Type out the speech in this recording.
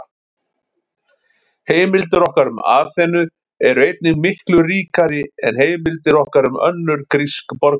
Heimildir okkar um Aþenu eru einnig miklu ríkari en heimildir okkar um önnur grísk borgríki.